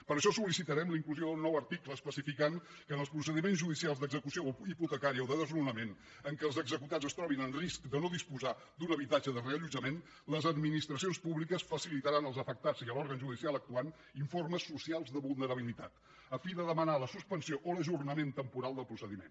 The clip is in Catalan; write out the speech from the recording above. per això sol·licitarem la inclusió d’un nou article que especifiqui que en els procediments judicials d’execució hipotecària o de desnonament en què els executats es trobin en risc de no disposar d’un habitatge de reallotjament les administracions públiques facilitaran als afectats i a l’òrgan judicial actuant informes socials de vulnerabilitat a fi de demanar la suspensió o l’ajornament temporal del procediment